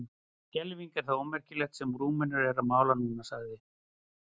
En skelfing er það ómerkilegt sem Rúmenar eru að mála núna, sagði